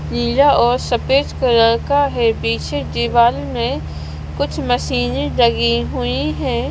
नीला और सफेद कलर का है पीछे दीवाल में कुछ मशीने लगी हुई है।